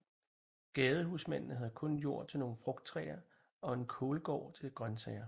Gadehusmændene havde kun jord til nogle frugttræer og en kålgård til grøntsager